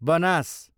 Banas